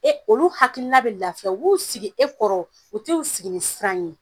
E olu hakilina bɛ lafiya u b'u sigi e kɔrɔ, u t'u sigi ni siran ye.